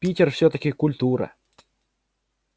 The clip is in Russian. питер всё-таки культура